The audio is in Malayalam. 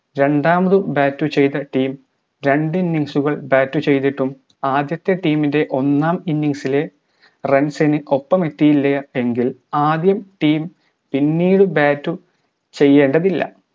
രണ്ടാമതും bat ചെയ്ത team രണ്ട് innigs കൾ bat ചെയ്‌തിട്ടും ആദ്യത്തെ team ൻറെ ഒന്നാം innings ലെ runs ന് ഒപ്പം എത്തിയില്ല എങ്കിൽ ആദ്യം team പിന്നീട് bat ഉ ചെയ്യേണ്ടതില്ല